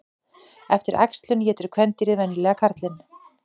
Eftir æxlun étur kvendýrið venjulega karlinn.